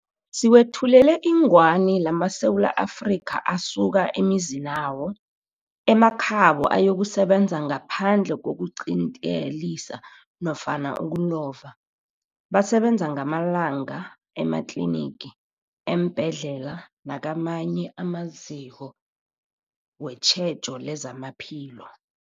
Siwethulela ingwani lamaSewula Afrika asuka emizinawo, emakhabo ayokusebenza ngaphandle kokuqintelisa nofana ukulova, basebenza ngamalanga ematlinigi, eembhedlela nakamanye amaziko wetjhejo lezamaphilo.